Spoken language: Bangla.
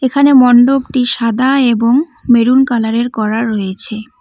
এখানে মন্ডপটি সাদা এবং মেরুন কালার -এর করা রয়েছে।